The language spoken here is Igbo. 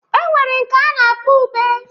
E nwere nke a na-akpọ ube.